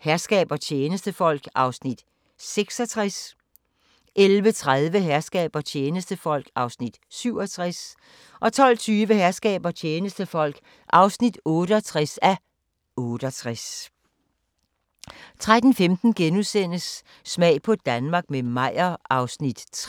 Herskab og tjenestefolk (66:68) 11:30: Herskab og tjenestefolk (67:68) 12:20: Herskab og tjenestefolk (68:68) 13:15: Smag på Danmark – med Meyer (3:13)*